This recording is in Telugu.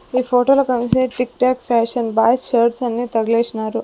ఈ ఫోటోలో కంసే TikTok fashion boys shirts అన్ని తగలేషినారు.